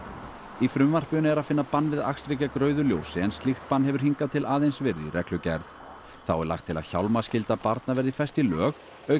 í frumvarpinu er að finna bann við akstri gegn rauðu ljósi en slíkt bann hefur hingað til aðeins verið í reglugerð þá er lagt til að barna verði fest í lög auk